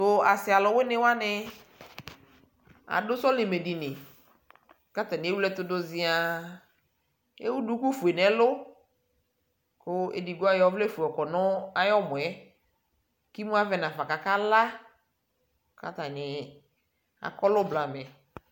tʋasiialʋwini wani, adʋ sɔlimɛ dini kʋ atani ɛwlɛ ɛtʋ dʋ ziaa, ɛwʋdʋkʋ ƒʋɛ nʋ ɛlʋ kʋ ɛdigbɔ ayɔ ɔvlɛ ƒʋɛ yɔkɔnʋ ayiɛmɔɛ kʋ imʋ avɛ nʋ aƒa kʋ aka la, kʋ atani akɔlʋ blamɛ